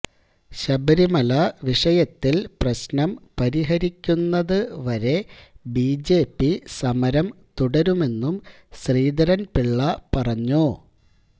ശബരിമല വിഷയത്തിൽ പ്രശ്നം പരിഹരിക്കുന്നത് വരെ ബിജെപി സമരം തുടരുമെന്നും ശ്രീധരൻപിള്ള പറഞ്ഞു